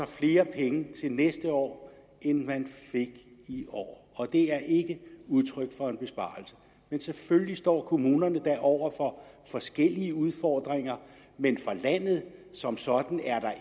flere penge til næste år end man fik i år og det er ikke udtryk for en besparelse men selvfølgelig står kommunerne da over for forskellige udfordringer men for landet som sådan er der